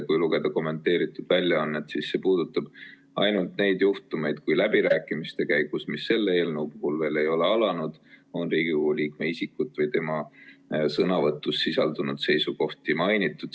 Kui lugeda kommenteeritud väljaannet, siis see puudutab ainult neid juhtumeid, kui läbirääkimiste käigus, mis selle eelnõu puhul veel ei ole alanud, on Riigikogu liikme isikut või tema sõnavõtus sisaldunud seisukohti mainitud.